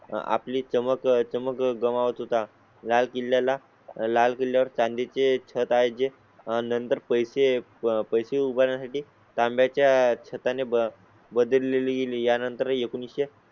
आपली चमक चमक गमावत होता. लाल किल्ल्या ला लाल किल्या वर चांदी चे छत आहे जे. नंतर पैसे पैसे उभारण्या साठी तांब्या च्या छता ने ब बदललेली. यानंतर एकोणीसशे